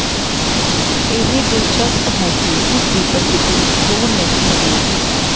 ਇਹ ਦਿਲਚਸਪ ਹੈ ਕਿ ਉਸਦੀ ਪ੍ਰਸਿੱਧੀ ਦੂਰ ਨਹੀਂ ਹੋਵੇਗੀ